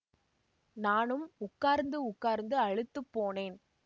நானும் உட்கார்ந்து உட்கார்ந்து அலுத்துப் போனேன்